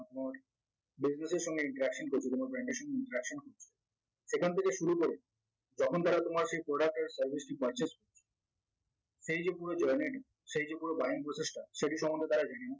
business এর সঙ্গে interaction করতে কোনো brand এর সাথে interaction সেখান থেকে শুরু করে যখন তারা তোমার সেই product এর service টি purchase এই যে পুরো journey টি সেই যে পুরো buying porcess টা সেটি সম্বন্ধে তারা জেনে